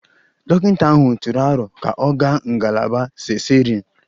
Dọkịta ahụ tụrụ aro ka ọ gaa ngalaba cesarean